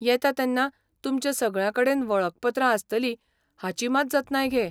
येता तेन्ना तुमच्या सगळ्यांकडेन वळखपत्रां आसतलीं हाची मात जतनाय घे.